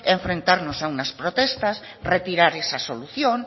enfrentarnos a unas protestas retirar esa solución